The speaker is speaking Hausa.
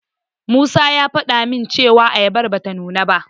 Musa ya faɗa min cewa ayabar bata nuna ba.